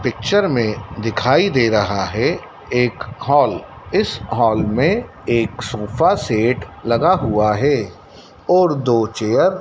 picture में दिखाई दे रहा है एक हॉल इस हॉल में एक सोफा सेट लगा हुआ है और दो चेयर --